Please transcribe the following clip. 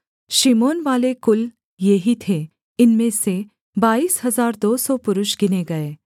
शिमोनवाले कुल ये ही थे इनमें से बाईस हजार दो सौ पुरुष गिने गए